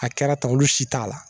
A kɛra ta olu si t'a la